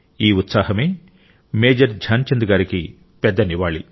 ఈ ఉత్సాహమే మేజర్ ధ్యాన్చంద్ గారికి పెద్ద నివాళి